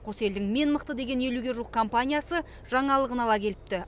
қос елдің мен мықты деген елуге жуық компаниясы жаңалығын ала келіпті